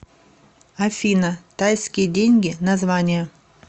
афина тайские деньги название